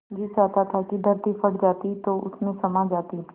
जी चाहता था कि धरती फट जाती तो उसमें समा जाती